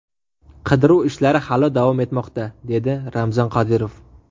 Qidiruv ishlari hali davom etmoqda”, dedi Ramzan Qodirov.